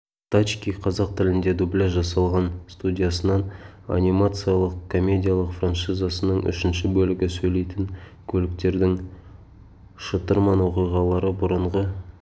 тачки қазақ тілінде дубляж жасалған студиясынан анимациялық комедиялық франшизасының үшінші бөлігі сөйлейтін көліктердің шытырман оқиғалары бұрынғы